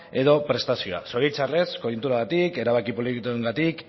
edo prestazioa zoritxarrez koiunturagatik erabaki politikoengatik